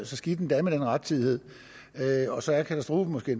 så skidt endda med den rettidighed og så er katastrofen måske